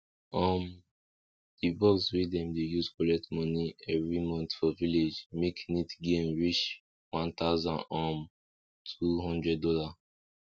um di box wey dem dey use collect money every month for village make neat gain wey reach one thousand um two hundred dolla